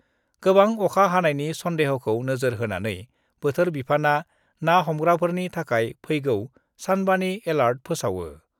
गोबां अखा हानायनि सन्देह'खौ नोजोर होनानै बोथोर बिफाना ना हमग्राफोरनि थाखाय फैगौ सानबानि एलार्ट फोसावो।